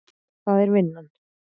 Og það er vinnan.